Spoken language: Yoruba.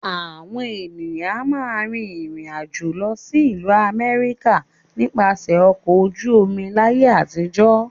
Àwọn ènìyàn a máa rìn ìrìnàjò lọ sí ìlú Àmẹ́ríkà nípasẹ̀ ọkọ̀ ojú omi láyé àtijọ́